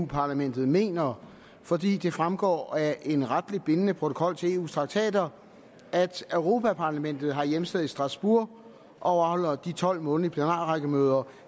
parlamentet mener fordi det fremgår af en retligt bindende protokol til eus traktater at europa parlamentet har hjemsted i strasbourg og afholder de tolv månedlige plenarrækkemøder